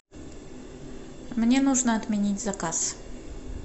мне нужно отменить заказ